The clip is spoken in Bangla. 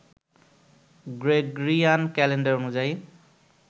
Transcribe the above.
গ্রেগরিয়ান ক্যালেন্ডার অনুযায়ী